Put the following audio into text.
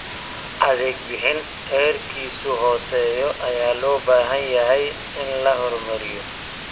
Adeeg bixin heerkiisu hooseeyo ayaa loo baahan yahay in la horumariyo.